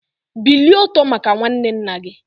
Bilie ọtọ maka nwanne nna gị!